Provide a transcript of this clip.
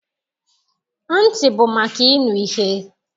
Ntị bụ maka ịnụ ihe.